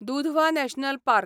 Dudhwa national park